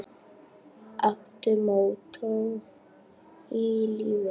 Áttu mottó í lífinu?